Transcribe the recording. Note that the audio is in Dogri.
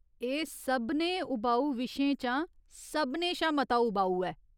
एह् सभनें उबाऊ विशें चा सभनें शा मता उबाऊ ऐ।